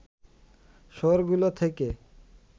শহরগুলো থেকে